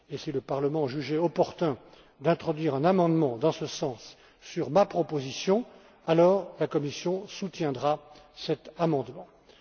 Et si le Parlement jugeait opportun d'introduire un amendement dans ce sens sur ma proposition, alors la Commission soutiendra celui